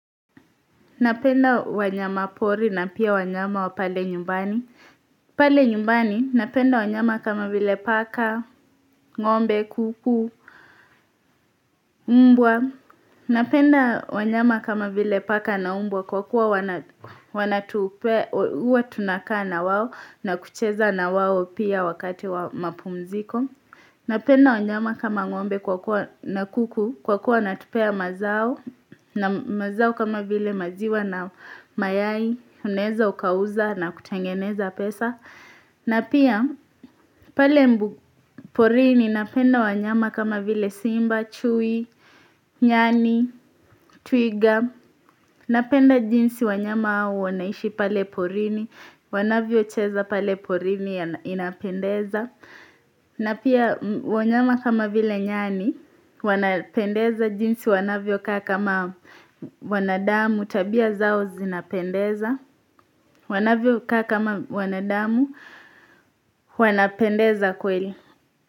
Napenda wanyama pori na pia wanyama wa pale nyumbani. Pale nyumbani napenda wanyama kama vile paka, ngombe, kuku, mbwa. Napenda wanyama kama vile paka na umbwa kwa kuwa wanatupea, huwa tunakaa na wao na kucheza na wao pia wakati wa mapumziko. Napenda wanyama kama ngombe na kuku kwa kuwa wanatupea mazao na mazao kama vile maziwa na mayai Unaeza ukauza na kutengeneza pesa na pia pale mbu porini napenda wanyama kama vile simba, chui, nyani, twiga Napenda jinsi wanyama au wanaishi pale porini Wanavyocheza pale porini inapendeza na pia wanyama kama vile nyani, wanapendeza jinsi wanavyokaa kama wanadamu, tabia zao zinapendeza, wanavyo kaa kama wanadamu, wanapendeza kweli.